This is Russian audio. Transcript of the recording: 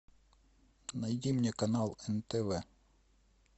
найди мне канал нтв